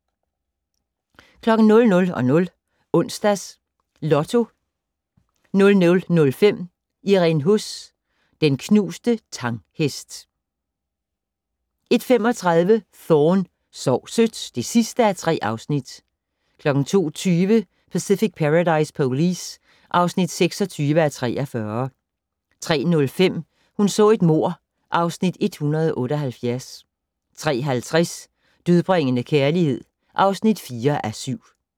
00:00: Onsdags Lotto 00:05: Irene Huss: Den knuste Tang-hest 01:35: Thorne: Sov sødt (3:3) 02:20: Pacific Paradise Police (26:43) 03:05: Hun så et mord (Afs. 178) 03:50: Dødbringende kærlighed (4:7)